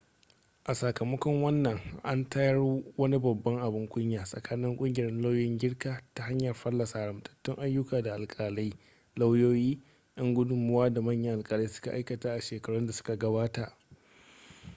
a sakamakon wannan an tayar wani babban abin kunya tsakanin kungiyar lauyoyin girka ta hanyar fallasa haramtattun ayyuka da alkalai lauyoyi yan gudunmowa da manyan alkalai suka aikata a shekarun da suka gabata